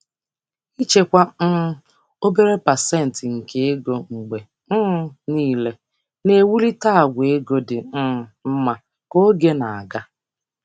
Ịchekwa obere obere pasentị nke ego mgbe niile na-ewulite àgwà ego dị mma ka oge na-aga.